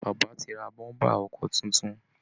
Bàbá ti ra bọ́ḿbà ọkọ̀ tuntun